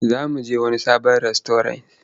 Za mu je wani sabon rastauras.